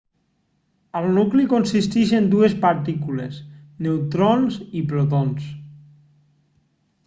el nucli consisteix en dues partícules neutrons i protons